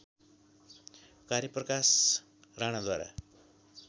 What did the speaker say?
कार्य प्रकाश राणाद्वारा